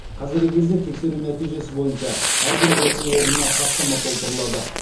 қазіргі кезде тексеру нәтижесі бойынша әрбір оқу орнына хаттама толтырылады